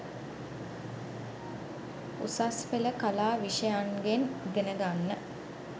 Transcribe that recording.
උසස් පෙළ කලා විෂයන්ගෙන් ඉගෙන ගන්න